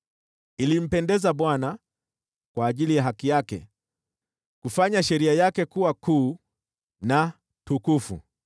Ilimpendeza Bwana kwa ajili ya haki yake kufanya sheria yake kuwa kuu na tukufu.